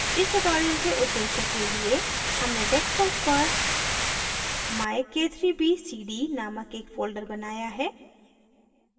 इस tutorial के उद्देश्य के लिए हमने desktop पर myk3bcd नामक एक folder बनाया है